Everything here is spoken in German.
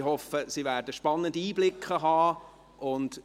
Ich hoffe, dass Sie spannende Einblicke haben werden.